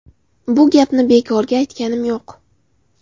Bu gapni bekorga aytganim yo‘q.